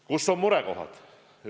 Kus on murekohad?